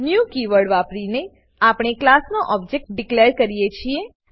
new keyword વાપરીને આપણે ક્લાસનો ઓબજેક્ટ ડીકલેર કરીએ છીએ